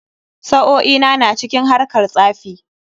Sa'o'i na na cikin harkar tsafi.